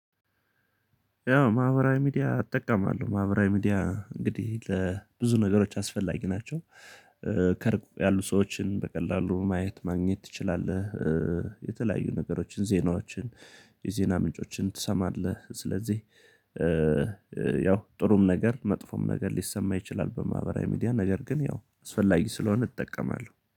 ያው ማህበራዊ ሚዲያ እጠቀማለሁ ማህበራዊ ሚዲያ እንግዲህ ለብዙ ነገሮች አስፈላጊ ናቸው። ቅርብ ያሉ ሰዎችን በቀላሉ ማየት ማግኘት ትችላለህ። የተለያዩ ነገሮችን ዜናዎችን የዜና ምንጮችን ትሰማለህ። ስለዚህ ያው ጥሩም ነገር መጥፎም ነገር ሊሰማ ይችላል። በማህበራዊ ሚዲያ ነገር ግን ያው አስፈላጊ ስለሆነ እጠቀማለሁ